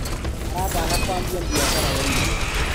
Arabanga kũambia mbiacara ya irio.